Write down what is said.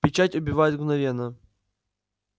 печать убивает мгновенно